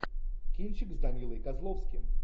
кинчик с данилой козловским